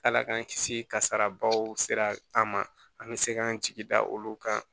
Ala k'an kisi kasarabaw sera an ma an bɛ se k'an jigi da olu kan